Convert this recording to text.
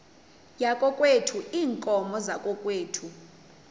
yakokwethu iinkomo zakokwethu